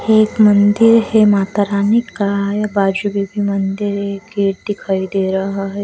एक मंदिर है माता रानी का बाजू भी मंदिर एक दिखाई दे रहा है.